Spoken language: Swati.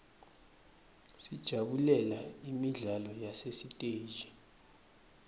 sijabulela imidlalo yasesiteji